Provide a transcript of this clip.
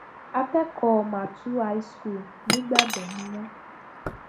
akẹkọọ màtún high school nígbàdàn ni wọn